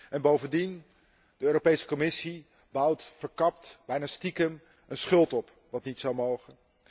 En bovendien, de Europese Commissie bouwt verkapt, bijna stiekem, een schuld op, wat niet zou mogen.